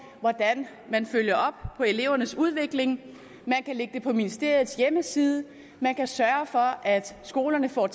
hvordan man følger op på elevernes udvikling man kan lægge det på ministeriets hjemmeside man kan sørge for at skolerne får